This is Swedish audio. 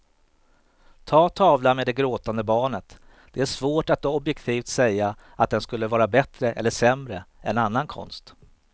Ta tavlan med det gråtande barnet, det är svårt att objektivt säga att den skulle vara bättre eller sämre än annan konst.